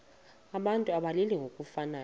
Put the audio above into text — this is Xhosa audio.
abantu abalili ngokufanayo